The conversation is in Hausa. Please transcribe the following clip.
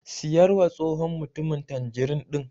Siyarwa tsohon mutumin tanjirin ɗin.